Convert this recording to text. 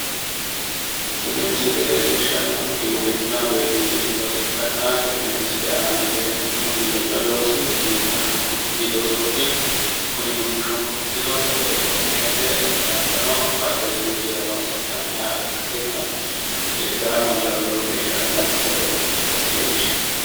Tini misile leellishshannohu giwiranna woy giwirinnu looso ikkanna tenne misile aanano leellannohu giwirinnu loosi duumu shunkurti loosooti kuni duumu shunkurtino sagale coommishate hattono addi addirichira horonsi'nanniha ikkasinna itaawo mannirano lowo geeshsha dancha sagale ikkasi leellishshanno